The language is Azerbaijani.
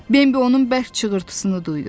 Bembi onun bərk çığırtısını duydu.